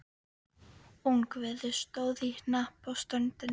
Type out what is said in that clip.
Ungviðið stóð í hnapp á ströndinni.